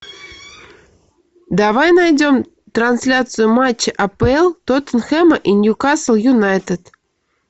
давай найдем трансляцию матча апл тоттенхэм и ньюкасл юнайтед